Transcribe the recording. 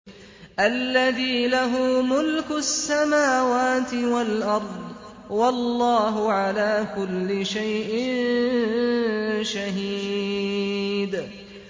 الَّذِي لَهُ مُلْكُ السَّمَاوَاتِ وَالْأَرْضِ ۚ وَاللَّهُ عَلَىٰ كُلِّ شَيْءٍ شَهِيدٌ